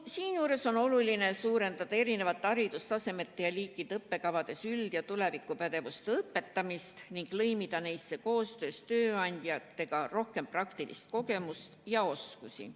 Seejuures on oluline suurendada eri haridustasemete ja -liikide õppekavades üld- ja tulevikupädevuste õpetamist ning lõimida neisse koostöös tööandjatega rohkem praktilist kogemust ja praktilisi oskusi.